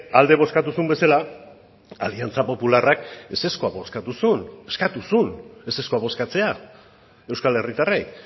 alde bozkatu zuen bezala aliantza popularrak ezezkoa bozkatu zuen eskatu zuen ezezkoa bozkatzea euskal herritarrei